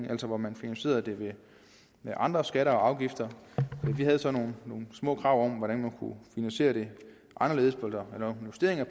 altså hvor man finansierede det med andre skatter og afgifter vi havde så nogle små krav om hvordan man kunne finansiere det anderledes eller lave justeringer